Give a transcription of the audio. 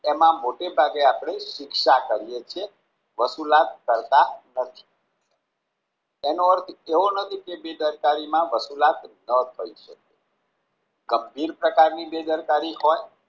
એમાં મોટે ભાગે આપણે શિક્ષા કરીયે છીએ વસુલાત કરતા નથી એનો અર્થ એવો નથી કે બેદરકારીમાં વસુલાત ન કરી શકીયે ગંભીર પ્રકારની બેદરકારી હોય